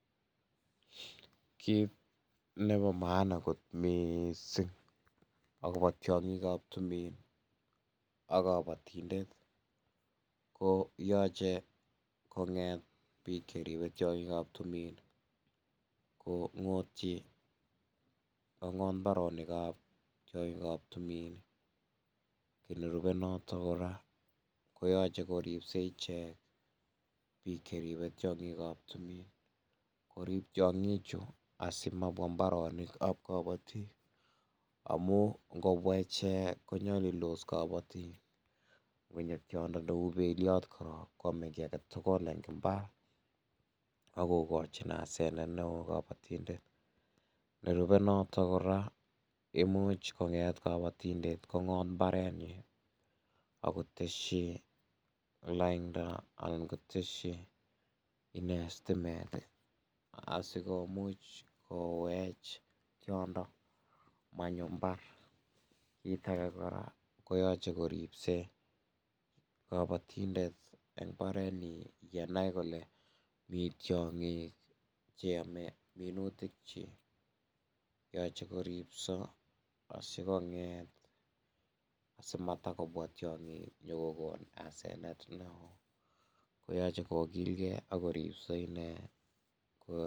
Kit nebo maana kot mising akobo tyongikab tumin ak kabotindet ko yoche konget bik Cheribe tyongikab tumin kongotyi, kongot mbaronik ab tyongikab tumin ii, kit nerube natok kora koyoche koribse ichek, bik Cheribe tyongikab tumin korib tyongichu asi mabws mbaronik ab kabotik, amun ngobwa ichek konyolildos kabotik, ngonyo tyondo neu belyot koyome kii aketugul eng imbar akokochi asenet neoo kabotindet, nerube notok kora ka imuch konget kabotindet kongot mbaret nyin kotesyi lainda ak kotesyi stimet ii asikomuch kowech komonyo imbar, kii ake kora koyoche koribse kobotundet eng mbarentin yenai. kole Mii tyongik che yome minutik kyik, yache korib asikobit amabwa tyongik kokon asenet neoo kyoche korib inee.